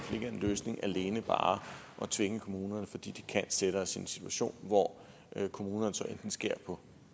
løsningen alene bare at tvinge kommunerne fordi det kan sætte os i en situation hvor kommunerne så skærer på